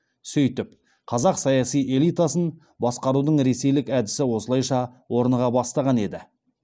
сөйтіп қазақ саяси элитасын баскарудың ресейлік әдісі осылайша орныға бастаған еді